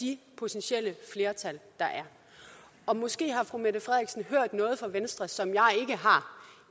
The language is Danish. de potentielle flertal der er måske har fru mette frederiksen hørt noget fra venstre som jeg